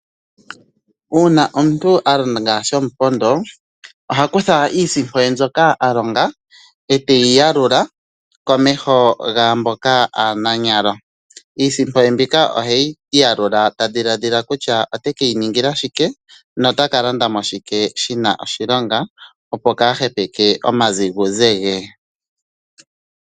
Uuna omuntu a longa shomupondo oha kutha iisimpo ye mbyoka a longa teyi yalula komeho gaamboka aananyalo. Iisimpo ye mbika oheyi yalula tadhiladhila kutya otekeyi ningila shike notakalanda mo shike shina oshilonga opo kaahepeke omaziguze ge.